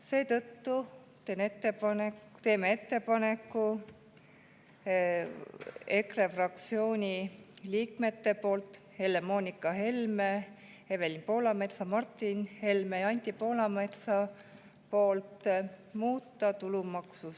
Seetõttu teeme ettepaneku EKRE fraktsiooni liikmete Helle-Moonika Helme, Evelin Poolametsa, Martin Helme ja Anti Poolametsa nimel muuta tulumaksuseadust.